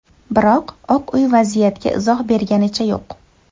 Biroq Oq uy vaziyatga izoh berganicha yo‘q.